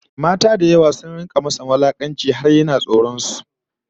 Mata da yawa sun rika masa wulakanci har yana tsoron su